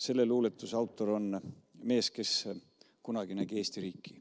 " Selle luuletuse autor on mees, kes kunagi nägi Eesti riiki.